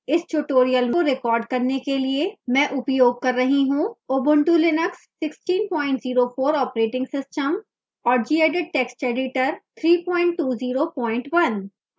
इस tutorial को record करने के लिए मैं उपयोग कर रही हूँ ubuntu linux 1604 operating system और gedit text editor 3201